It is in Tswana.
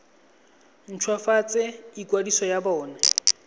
nt hwafatse ikwadiso ya bona